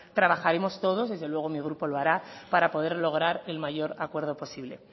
trabajaremos todos desde luego mi grupo lo hará para poder lograr el mayor acuerdo posible